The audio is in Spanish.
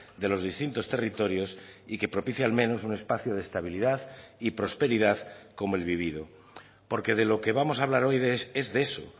de los distintos territorios y que propicie al menos un espacio de estabilidad y prosperidad como el vivido porque de lo que vamos a hablar hoy es de eso